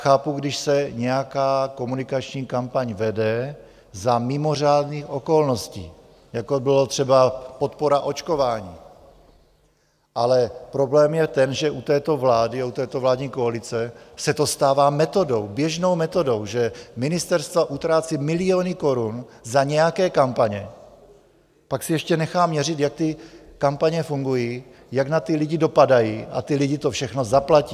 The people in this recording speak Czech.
Chápu, když se nějaká komunikační kampaň vede za mimořádných okolností, jako byla třeba podpora očkování, ale problém je ten, že u této vlády a u této vládní koalice se to stává metodou, běžnou metodou, že ministerstva utrácí miliony korun za nějaké kampaně, pak si ještě nechá měřit, jak ty kampaně fungují, jak na ty lidi dopadají, a ti lidé to všechno zaplatí!